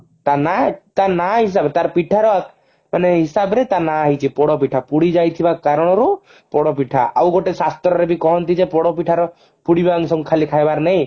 ତା ନାଁ ତାର ନାଁ ହିସାବରେ ତାର ପିଠାର ହିସାବରେ ତା ନାଁ ହେଇଛି ପୋଡପିଠା ପୁଡିଯାଇ ଥିବା କାରଣରୁ ପୋଡପିଠା ଆଉ ଗୋଟେ ଶାସ୍ତ୍ରରେ ବି କହନ୍ତି ଯେ ପୋଡପିଠା ର ପୁଡିବା ଖାଇବା ଅଂଶ କୁ ଖାଲି ଖାଇବାର ନହିଁ